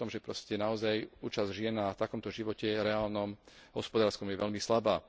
Hovorí o tom, že naozaj účasť žien na takomto živote reálnom, hospodárskom je veľmi slabá.